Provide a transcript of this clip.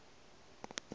di lekotše o be a